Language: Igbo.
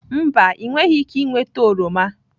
Mba, ị nweghị ike ịnweta oroma.